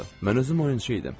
Mən özüm oyunçu idim.